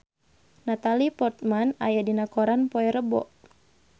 Natalie Portman aya dina koran poe Rebo